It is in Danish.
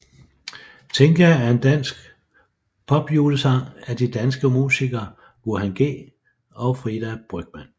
Tinka er en dansk popjulesang af de danske musikere Burhan G og Frida Brygmann